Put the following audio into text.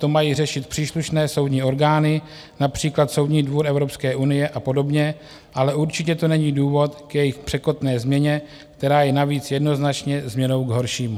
To mají řešit příslušné soudní orgány, například Soudní dvůr Evropské unie a podobně, ale určitě to není důvod k jejich překotné změně, která je navíc jednoznačně změnou k horšímu.